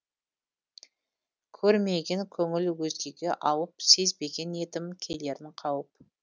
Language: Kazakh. көрмеген көңіл өзгеге ауып сезбеген едім келерін қауіп